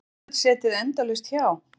Geta stjórnvöld setið endalaust hjá?